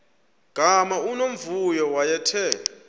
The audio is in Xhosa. gama unomvuyo wayethe